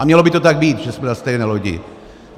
A mělo by to tak být, že jsme na stejné lodi.